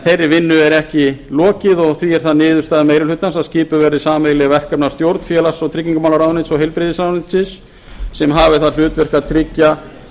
þeirri vinnu er ekki lokið og því er það niðurstaða meiri hlutans að skipuð verði sameiginleg verkefnastjórn félags og tryggingamálaráðuneytis og heilbrigðismálaráðuneytisins sem hafi það hlutverk að tryggja